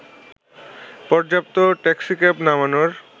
পর্যাপ্ত ট্যাক্সিক্যাব নামানোর